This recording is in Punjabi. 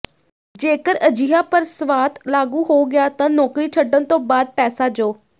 ਜੇਕਰ ਅਜਿਹਾ ਪ੍ਰਸਵਾਤ ਲਾਗੂ ਹੋ ਗਿਆ ਤਾਂ ਨੌਕਰੀ ਛੱਡਣ ਤੋਂ ਬਾਅਦ ਪੈਸਾ ਜੋ